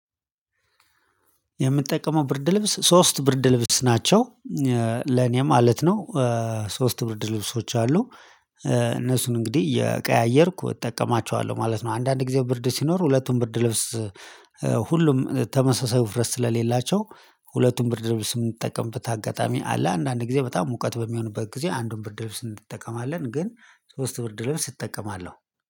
የምጠቀመው ብርድ ልብስ ሶስት ብርድ ልብስ ናቸው ለእኔ ማለት ነው። ሶስት ብርድ ልብሶች አሉ። እነሱን እንግዲህ እየቀያየርኩ እጠቀማቸዋለሁ ማለት ነው። አንዳንድ ጊዜ ብርድ ሲኖር ሁለቱን ብርድ ልብስ። ሁሉም ተመሳሳይ ውፍረት ስለሌላቸው። ሁለቱም ብርድ ልብስ የምጠቀምበት አጋጣሚ አለ። አንዳንድ ጊዜ በጣም ሙቀት በሚሆንበት ጊዜ አንዱን ብርድ ልብስ እንጠቀማለን ግን ሶስት ብርድ ልብስ እጠቀማለሁ